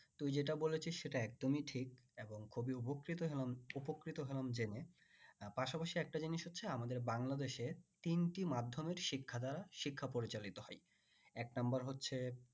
তুই যেটা বলেছিস সেটা একদমই ঠিক এবং খুবই উভকৃত হলাম উপকৃত হলাম জেনে উম পাশাপাশি একটা জিনিস হচ্ছে আমার বাংলাদেশে তিনটি মাধ্যমের শিক্ষা দ্বারা শিক্ষা পরিচালিত হয় এক number হচ্ছে